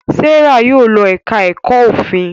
Serah Yóò ló èka èko òfin.